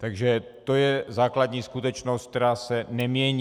Takže to je základní skutečnost, která se nemění.